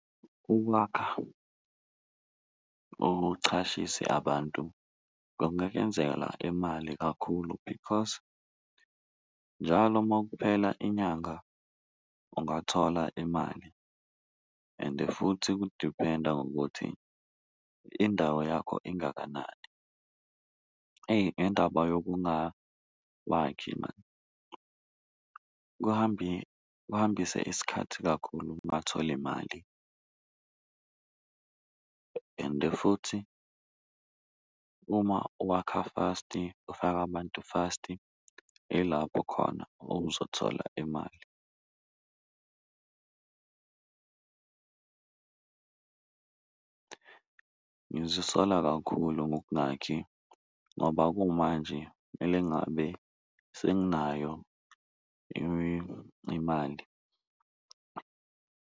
Ukwakha uchashise abantu kungakuyenzela imali kakhulu because njalo makuphela inyanga ungathola imali ende futhi kudiphenda ngokuthi indawo yakho ingakanani, eyi ngendaba yokungakhwakhi maan kuhambisa isikhathi kakhulu kubatholi mali . Ende futhi, uma uwakha fast-i ufake abantu fast-i ilapho khona owuzothola imali ngizisola kakhulu ngokungakhi ngoba kumanje kumele ngabe senginayo imali.